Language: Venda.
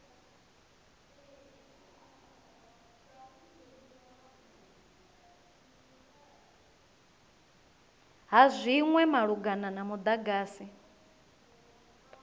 ha zwinwe malugana na mudagasi